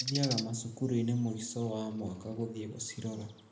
Mathiaga macukuru-ini mũico wa mwaka gũthiĩ gũcirora